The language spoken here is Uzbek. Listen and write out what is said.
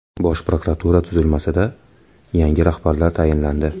Bosh prokuratura tuzilmasida yangi rahbarlar tayinlandi.